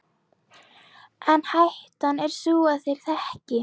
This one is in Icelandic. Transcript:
En hættan er sú að þeir þekki